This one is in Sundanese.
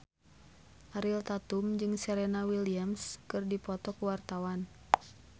Ariel Tatum jeung Serena Williams keur dipoto ku wartawan